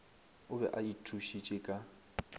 o be a ithušitše ka